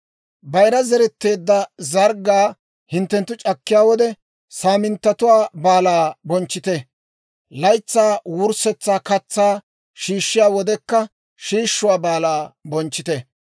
«Bayira zeretteedda zarggaa hinttenttu c'akkiyaa wode, Saaminttatuwaa Baalaa bonchchite; laytsaa wurssetsa katsaa shiishshiyaa wodekka, Shiishuwaa Baalaa bonchchite.